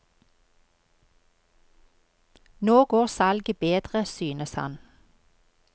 Nå går salget bedre, synes han.